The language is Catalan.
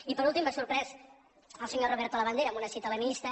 i per últim m’ha sorprès el senyor roberto labandera amb una cita leninista